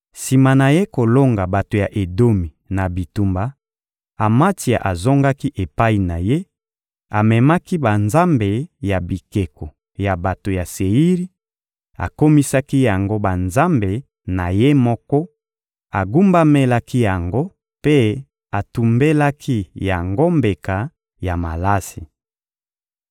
Sima na ye kolonga bato ya Edomi na bitumba, Amatsia azongaki epai na ye; amemaki banzambe ya bikeko ya bato ya Seiri, akomisaki yango banzambe na ye moko, agumbamelaki yango mpe atumbelaki yango mbeka ya malasi.